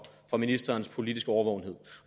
ministerens politiske årvågenhed